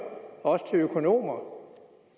også til økonomer